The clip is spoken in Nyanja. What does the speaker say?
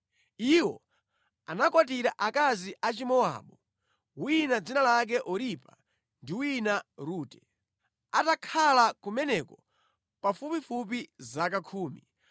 Iwo anakwatira akazi a Chimowabu; wina dzina lake Oripa ndi wina Rute. Atakhala kumeneko pafupifupi zaka khumi,